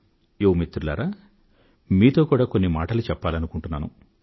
యువ మిత్రులారా మీతో కూడా కొన్ని మాటలు చెప్పాలనుకుంటున్నాను